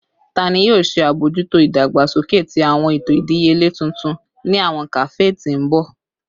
Tani yoo ṣe abojuto idagbasoke ti awọn eto idiyele tuntun ni awọn kafe ti n bọ?